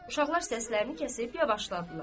Uşaqlar səslərini kəsib, yavaşladılar.